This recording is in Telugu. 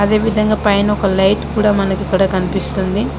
అదే విధంగా పైన ఒక లైట్ కూడా మనికి ఇక్కడ కనిపిస్తుంది.